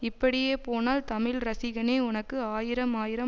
இப்படியே போனால் தமிழ் ரசிகனே உனக்கு ஆயிரம் ஆயிரம்